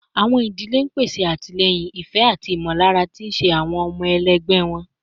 Awọn idile n pese atilẹyin, ifẹ, ati imọlara ti iṣe ti awọn ọmọ ẹgbẹ wọn